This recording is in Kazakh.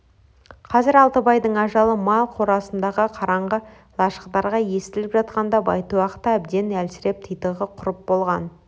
қазір алтыбайдың ажалы мал қорасындағы қараңғы лашықтарға естіліп жатқанда байтұяқ та әбден әлсіреп титығы құрып болған